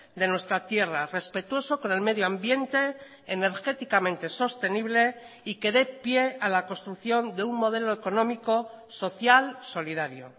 de nuestra tierra respetuoso con el medio ambiente energéticamente sostenible y que de pie a la construcción de un modelo económico social solidario